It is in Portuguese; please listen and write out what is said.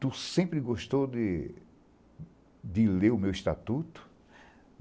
Tu sempre gostou de de ler o meu estatuto.